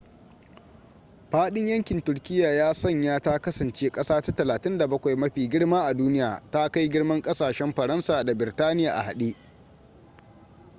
faɗin yankin turkiyya ya sanya ta kasance ƙasa ta 37 mafi girma a duniya ta kai girman ƙasashen faransa da birtaniya a hade